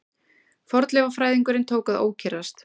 Fornleifafræðingurinn tók að ókyrrast.